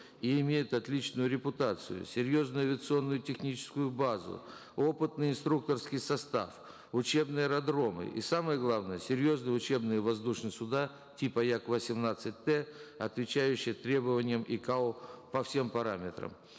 и имеет отличную репутацию серьезную авиационную техническую базу опытный инструкторский состав учебные аэродромы и самое главное серьезные учебные воздушные суда типа як восемнадцать т отвечающих требованиям икао по всем параметрам